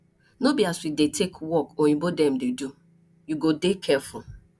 no be as we dey take work oyimbo dem dey do you go dey careful